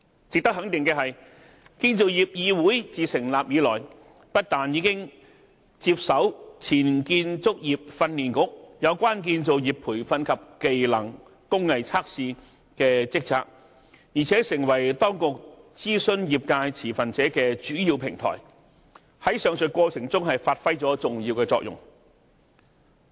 值得肯定的是，建造業議會自成立以來，不但已接手前建造業訓練局有關建造業培訓及技能/工藝測試的職責，而且成為當局諮詢業界持份者的主要平台，在上述過程中發揮了重要的作用。